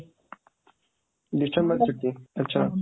december ଛୁଟି, ଆଚ୍ଛା